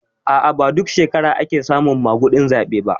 A'a ba duk shekara ake samun maguɗin zaɓe ba